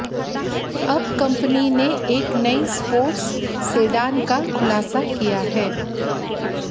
अब कंपनी ने एक नई स्पोर्ट्स सेडान का खुलासा किया है